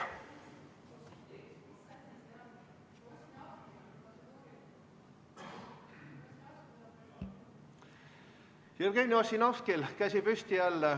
Jevgeni Ossinovskil jälle käsi püsti.